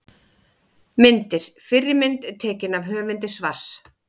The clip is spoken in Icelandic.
Myndir: Fyrri mynd: Tekin af höfundi svars.